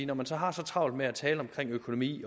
når man så har så travlt med at tale om økonomi